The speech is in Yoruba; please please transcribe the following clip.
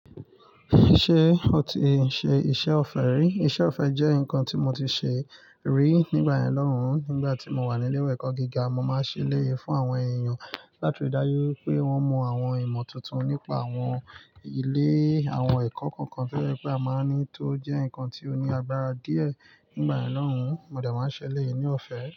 Ṣé o ti ṣe iṣẹ́ ọ̀fẹ́ rí? Iṣẹ́ ọ̀fẹ́ jẹ́ nǹkan tí mo ti ṣe rí nígbà yen lohun. Nígbà tí mo wà ní ilé-ẹ̀kọ́ gíga, mo máa ń ṣẹ'lé yìí fún àwọn èèyàn láti ridájú pé wọ́n mọ àwọn ìmọ̀ tuntun nípa àwọn ilé àwọn ẹ̀kọ́ kọ̀ọ̀kan. Gẹ́gẹ́ bí a máa ní tó jẹ́ nǹkan tí ó ní agbára díẹ̀ nígbà ẹ̀lọ́rùn, mo dà máa ń ṣẹlẹ̀ yìí ní ọ̀fẹ́.